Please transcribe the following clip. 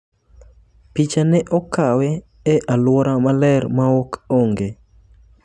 Picha ne okawe e aluora maler ma ok onge